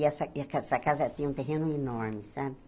E essa casa eh essa casa tinha um terreno enorme, sabe?